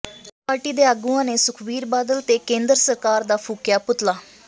ਆਪ ਪਾਰਟੀ ਦੇ ਆਗੂਆਂ ਨੇ ਸੁਖਵੀਰ ਬਾਦਲ ਤੇ ਕੇਂਦਰ ਸਰਕਾਰ ਦਾ ਫੂਕਿਆਂ ਪੁਤਲਾ